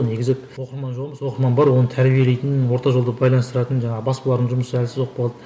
негізі оқырман жоқ емес оқырман бар оны тәрбиелейтін орта жолды байланыстыратын жаңағы баспалардың жұмысы әлсіз болып қалды